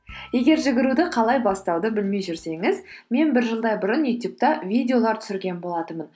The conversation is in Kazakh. егер жүгіруді қалай бастауды білмей жүрсеңіз мен бір жылдай бұрын ютюбта видеолар түсірген болатынмын